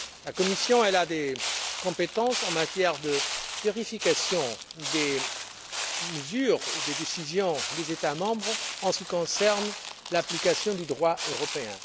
La Commission a des compétences en matière de vérification des mesures, des décisions prises par les États membres en ce qui concerne l'application du droit européen.